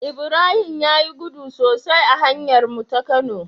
Ibrahim yayi gudu sosai a hanyar mu ta kano